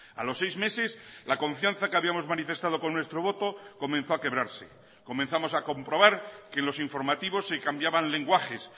a los seis meses la confianza que habíamos manifestado con nuestro voto comenzó a quebrarse comenzamos a comprobar que los informativos se cambiaban lenguajes